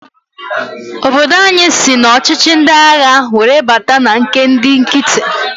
Obodo anyị sị n'ọchịchị ndi agha were bata na nke ndị nkiti.